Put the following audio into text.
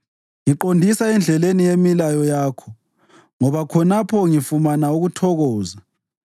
Ngiqondisa endleleni yemilayo yakho, ngoba khonapho ngifumana ukuthokoza.